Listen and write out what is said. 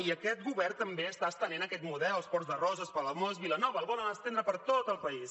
i aquest govern també està estenent aquest model als ports de roses palamós vilanova el volen estendre per tot el país